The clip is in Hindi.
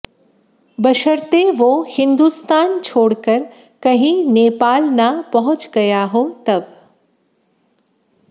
बशर्ते वो हिंदुस्तान छोड़कर कहीं नेपाल न पहुंच गया हो तब